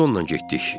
Biz onunla getdik.